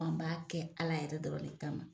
An b'a kɛ Ala yɛrɛ dɔrɔn le kama .